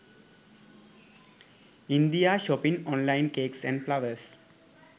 india shopping online cakes and flowers